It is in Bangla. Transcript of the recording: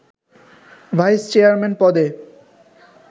ভাইস চেয়ারম্যান পদে